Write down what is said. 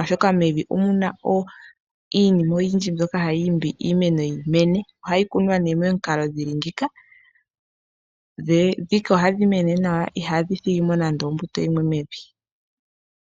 oshoka mevi omuna iinima oyindji mboka hayi imbi iimeno yimene ohayi kunwa nee momikalo dhili ngika dhika ohadhi mene nawa ihadhi thigimo nande ombuto yimwe mevi.